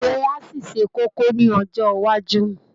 Òwe á ṣì ṣe kókó ní ọjọ́ iwájú